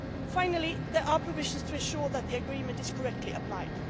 Finally, there are provisions to ensure that the agreement is correctly applied.